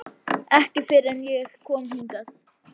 Ekki fyrr en ég kom hingað.